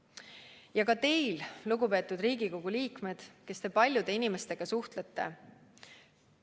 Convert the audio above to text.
Ja ka teie, lugupeetud Riigikogu liikmed, kes te paljude inimestega suhtlete!